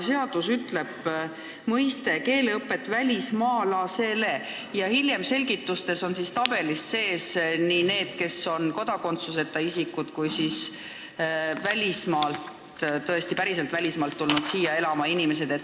Seaduseelnõus on sõnad "keeleõpet välismaalasele", aga hiljem on selgitustes, tabelis sees nii need, kes on kodakondsuseta isikud, kui ka välismaalt siia päriselt elama tulnud inimesed.